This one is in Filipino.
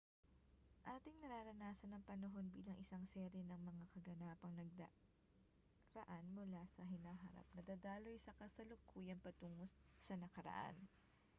ating nararanasan ang panahon bilang isang serye ng mga kaganapang nagdaraan mula sa hinaharap na dadaloy sa kasalukuyan patungo sa nakaraan